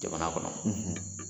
Jamana kɔnɔ.